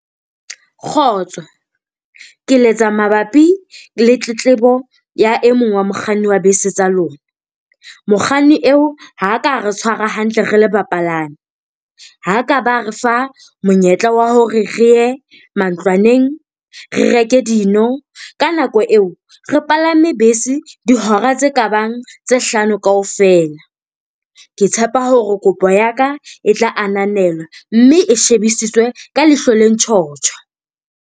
Kgotso, ke letsa mabapi le tletlebo ya e mong wa mokganni wa bese tsa lona. Mokganni eo ha ka a re tshwara hantle re le bapalami. Ha ka ba re fa monyetla wa hore re ye mantlwaneng, re reke dino. Ka nako eo re palame bese dihora tse kabang tse hlano kaofela. Ke tshepa hore kopo ya ka e tla ananelwa mme e shebisiswe ka leihlo le ntjhotjho.